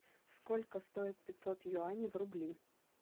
сколько стоит пятьсот юаней в рубли